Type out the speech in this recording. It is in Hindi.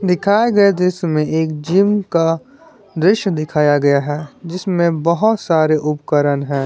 दिखाए गए दृश्य में एक जिम का दृश्य दिखाया गया है जिसमें बहोत सारे उपकरण है।